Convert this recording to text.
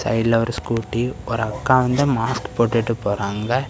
சைடுல ஒரு ஸ்கூட்டி ஒரு அக்கா வந்து மாஸ்க் போட்டுட்டு போறாங்க.